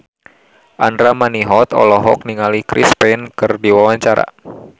Andra Manihot olohok ningali Chris Pane keur diwawancara